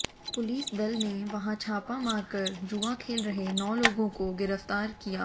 police दल ने वहां छापा मारकर जुआ खेल रहे नौ लोगों को गिरफ्तार किया